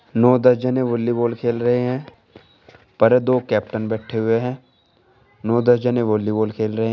नौ दस जने वॉलीबॉल खेल रहे हैं पर दो कैप्टन बैठे हुए हैं नौ दस जने वॉलीबॉल खेल रहे हैं।